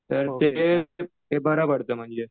तर ते ते बरं पडतं म्हणजे.